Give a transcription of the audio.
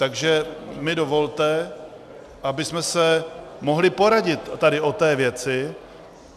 Takže mi dovolte, abychom se mohli poradit tady o té věci.